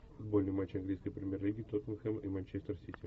футбольный матч английской премьер лиги тоттенхэм и манчестер сити